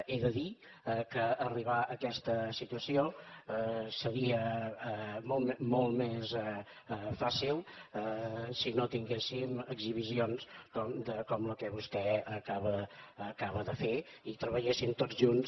he de dir que arribar a aquesta situació seria molt més fàcil si no tinguéssim exhibicions com la que vostè acaba de fer i treballéssim tots junts